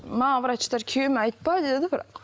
маған врачтар күйеуіме айтпа деді бірақ